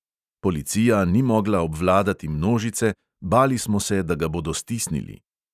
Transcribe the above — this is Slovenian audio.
Policija ni mogla obvladati množice, bali smo se, da ga bodo stisnili.